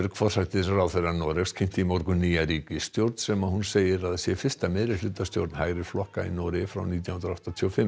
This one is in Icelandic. forsætisráðherra Noregs kynnti í morgun nýja ríkisstjórn landsins sem hún segir að sé fyrsta meirihlutastjórn hægri flokka í Noregi frá nítján hundruð áttatíu og fimm